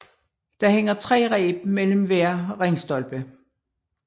Der hænger tre reb mellem hver ringstolpe